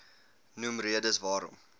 noem redes waarom